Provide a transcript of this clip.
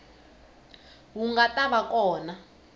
wu nga ta va kona